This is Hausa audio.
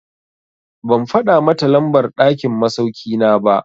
Ban faɗa mata lambar ɗakin masauki na ba.